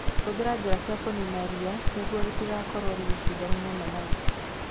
Hũthĩra njĩra cia kũnina ria nĩguo rĩtigakorwo rĩgĩcindana na managu.